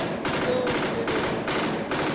seo se bego se mo